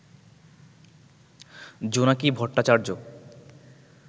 Jonaki Bhattacharya